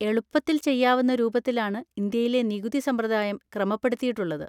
എളുപ്പത്തിൽ ചെയ്യാവുന്ന രൂപത്തിലാണ് ഇന്ത്യയിലെ നികുതി സമ്പ്രദായം ക്രമപ്പെടുത്തിയിട്ടുള്ളത്.